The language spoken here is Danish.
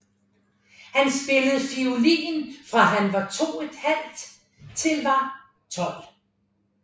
Han spillede fiolin fra han var 2 ½ år til var 12 år